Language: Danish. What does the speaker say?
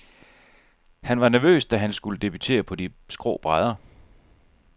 Han var nervøs, da han skulle debutere på de skrå brædder.